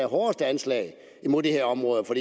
hårdeste anslag mod de her områder for